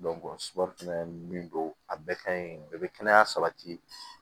fɛnɛ min don a bɛɛ ka ɲi a bɛɛ be kɛnɛya sabati